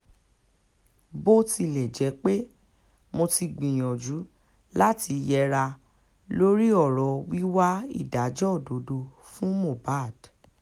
bó tilẹ̀ jẹ́ pé mo ti gbìyànjú láti yẹra lórí ọ̀rọ̀ wíwá ìdájọ́ òdodo fún mohbad